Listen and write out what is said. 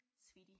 Sweetie